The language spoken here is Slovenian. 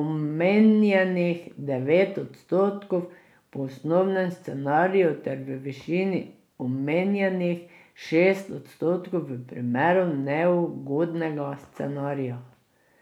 omenjenih devet odstotkov po osnovnem scenariju ter v višini omenjenih šest odstotkov v primeru neugodnega scenarija.